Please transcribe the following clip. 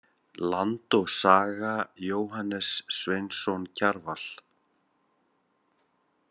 Land og saga- Jóhannes Sveinsson Kjarval.